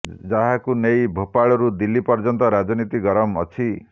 ଯାହାକୁ ନେଇ ଭୋପାଳରୁ ଦିଲ୍ଲୀ ପର୍ଯ୍ୟନ୍ତ ରାଜନୀତି ଗରମ ଅଛି